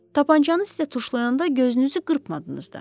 Tapancanı sizə tuşlayanda gözünüzü qırpmadınız da.